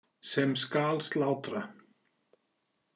Sem skal slátra.